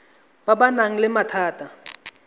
ba ba nang le mathata